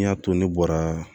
N y'a to ne bɔra